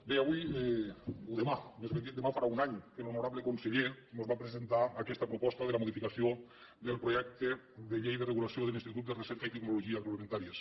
bé avui o demà més ben dit demà farà un any que l’honorable conseller mos va presentar aquesta proposta de la modificació del projecte de llei de regulació de l’institut de recerca i tecnologia agroalimentàries